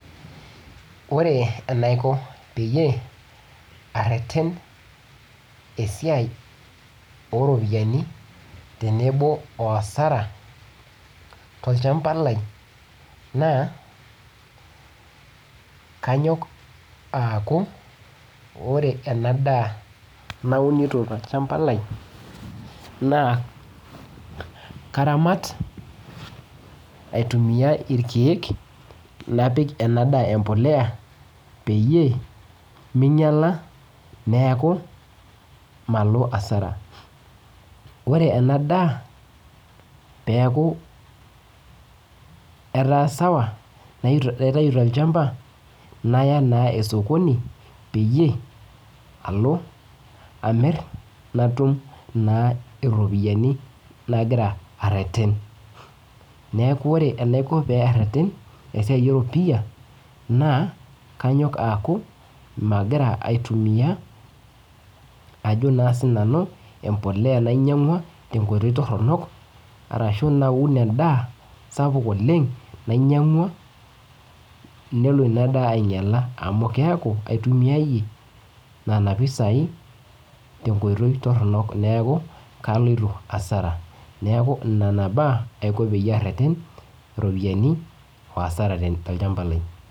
Ore enaiko peyie areten esiai oropiyiani tenebo o asara tolchamba lai na kanyok aaku ore ena daa naunito tolchamba lai na karamat aitumua rkiek napik enaa daa empolea peyie minyala neaku malo asara neaku ore enadaa peaku etaa sawa naitau tolchamba naya osokoni peyie alo amir natum iropiyiani nagira areten na kanyok aaku magira aitumia ajobna sinanu embolea nainyangua tenkoi toronokarashu naun endaa sapuk oleng nelo inadaa ainyala neaku aitumia iyie nona pisai tenkoitoi toronok neaku kaloito hasara neaku ore nona baa tolchamba lai.